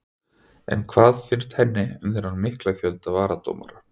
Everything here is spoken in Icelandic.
En hvað finnst henni um þennan mikla fjölda varadómara?